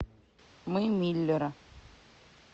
мы миллеры